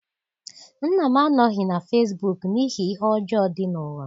Nna m anọghị na fesibuuku n'ihi ihe ọjọọ dị n'ụwa.